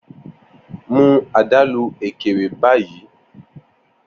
Mu adalu Ekere bayi!